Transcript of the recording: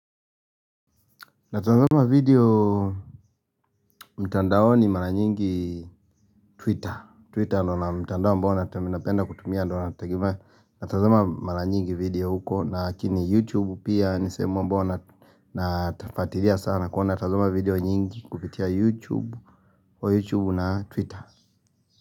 Natazama video mtandaoni mara nyingi twitter Twitter ndo na mtandao ambao napenda kutumia ndio nategemea Natazama mara nyingi video huko lakini youtube pia nisehemu ambayo nafuatilia sana Kwa natazama video nyingi kupitia youtube Kwa youtube na twitter.